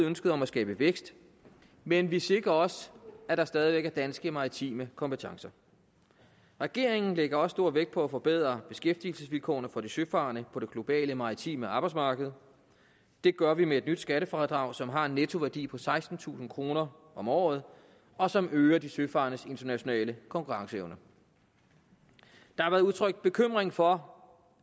ønsket om at skabe vækst men vi sikrer også at der stadig væk er danske maritime kompetencer regeringen lægger også stor vægt på at forbedre beskæftigelsesvilkårene for de søfarende på det globale maritime arbejdsmarked og det gør vi med et nyt skattefradrag som har en nettoværdi på sekstentusind kroner om året og som øger de søfarendes internationale konkurrenceevne der har været udtrykt bekymring for